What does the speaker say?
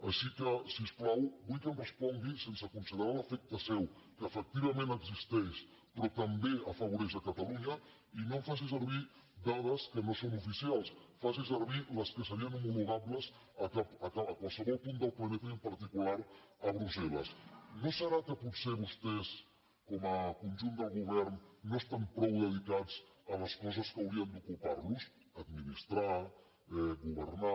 així que si us plau vull que em respongui sense considerar l’efecte seu que efectivament existeix però també afavoreix catalunya i no em faci servir dades que no són oficials faci servir les que serien homologables a qualsevol punt del planeta i en particular a brusselno serà que potser vostès com a conjunt del govern no estan prou dedicats a les coses que haurien d’ocupar los administrar governar